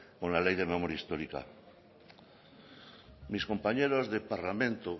con la ley de memoria histórica mis compañeros de parlamento